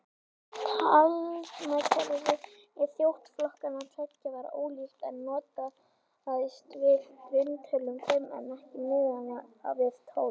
Talnakerfi þjóðflokkanna tveggja var ólíkt, einn notaðist við grunntöluna fimm en hinn miðaði við tólf.